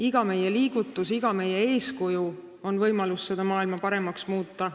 Iga meie liigutus, iga meie eeskuju on võimalus seda maailma paremaks muuta.